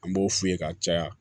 An b'o f'u ye ka caya